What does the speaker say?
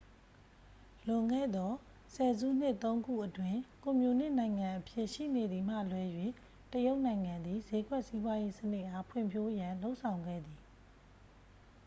လွန်ခဲ့သော ဆယ်စုနှစ် သုံး ခုအတွင်း ကွန်မြူနစ်နိုင်ငံအဖြစ် ရှိနေသည်မှ လွဲ၍ တရုတ်နိုင်ငံသည် ဈေးကွက်စီးပွားရေးစနစ်အား ဖွံ့ဖြိုးရန် လုပ်ဆောင်ခဲ့သည်